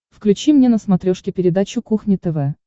включи мне на смотрешке передачу кухня тв